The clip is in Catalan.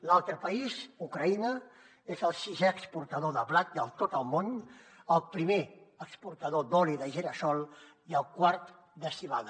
l’altre país ucraïna és el sisè exportador de blat de tot el món el primer exportador d’oli de gira sol i el quart de civada